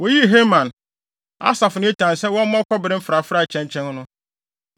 Woyii Heman, Asaf ne Etan sɛ wɔmmɔ kɔbere mfrafrae kyɛnkyɛn no.